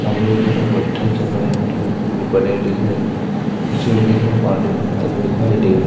सामने वो किसी पत्थर से बने ल बने हुए दिखाई कुछ लोग इधर तरफ पानी भरता हुआ दिखाई दे रहा है।